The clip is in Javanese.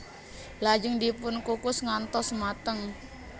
Lajeng dipun kukus ngantos mateng